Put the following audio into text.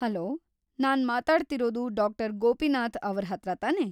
Hello, ನಾನ್ ಮಾತಾಡ್ತಿರೋದು ಡಾ.‌ ಗೋಪಿನಾಥ್‌ ಅವ್ರ ಹತ್ರ ತಾನೇ?